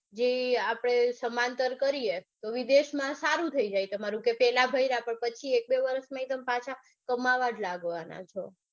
જે આપડે સમાંતર કરીયે તો વિદેશમાં સારું થઇ જાય તમારું કે પેલા ભૈન્યા પણ પછી એક બે વરસ માં તમે પાછા કમાવા જ લાગવાના છો.